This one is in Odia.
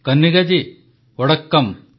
କନିଗ୍ଗା ଜୀ ୱଡ଼କ୍କମ୍